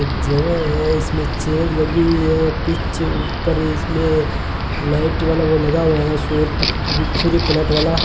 एक जगह है इसमें चेयर लगी हुई है पीछे ऊपर इसमें लाइट वाला वो लगा हुआ है सूर्य प्लेट वाला --